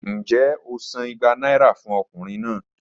Njẹ o san igba naira fun ọkunrin naa?